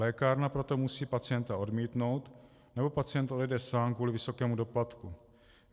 Lékárna proto musí pacienta odmítnout nebo pacient odejde sám kvůli vysokému doplatku.